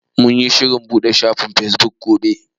Mun yi shirin buɗe shafin fesbuk gobe.